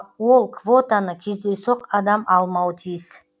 ол квотаны кездейсоқ адам алмауы тиіс